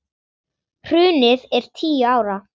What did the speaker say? Hrunið er tíu ára.